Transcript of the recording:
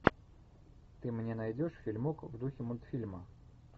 ты мне найдешь фильмок в духе мультфильма